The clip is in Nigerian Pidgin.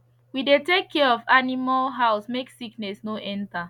we dey take care of animal house make sickness no enter